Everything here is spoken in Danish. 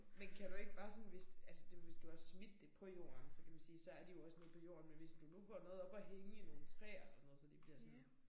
Men kan du ikke bare sådan hvis altså hvis du har smidt det på jorden så kan man sige så er de også nede på jorden men hvis du nu får noget op at hænge i nogle træer eller sådan noget så de bliver sådan